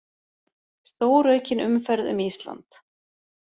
Stóraukin umferð um Ísland